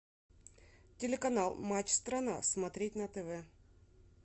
телеканал матч страна смотреть на тв